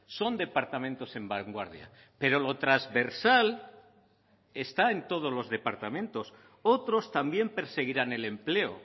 son departamentos en vanguardia pero lo transversal está en todos los departamentos otros también perseguirán el empleo